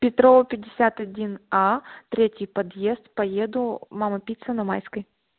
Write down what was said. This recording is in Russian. петрова пятьдесят один а третий подъезд поеду мама пицца на майской